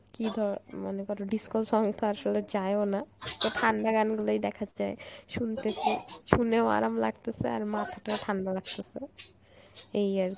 কী ধ~ মনে কর disco song তো আসলে যায়ও না তোর ঠান্ডা গান গুলোই দেখা যায় শুনতেসি শুনেও আরাম লাগতেছে আর মাথাটাও ঠান্ডা লাগতেছে, এই আর